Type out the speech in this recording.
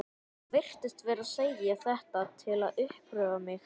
Hann virtist vera að segja þetta til að uppörva mig.